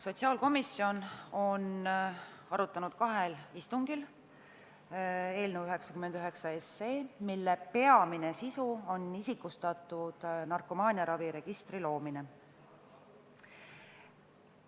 Sotsiaalkomisjon on arutanud kahel istungil eelnõu 99, mille peamine sisu on isikustatud andmetega narkomaaniaraviregistri loomine.